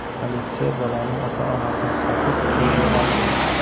Politsiya bolaning ota-onasini topib, qo‘lga oldi.